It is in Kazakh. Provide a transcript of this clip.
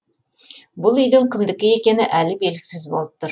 бұл үйдің кімдікі екені әлі белгісіз болып тұр